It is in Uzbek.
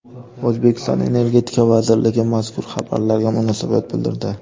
O‘zbekiston Energetika vazirligi mazkur xabarlarga munosabat bildirdi .